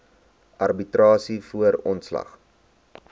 arbitrasie voor ontslag